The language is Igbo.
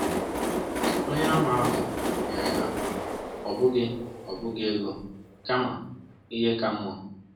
Onyeàmà ahụ nyere ha, ọ bụghị bụghị ego, kama ihe ka mma.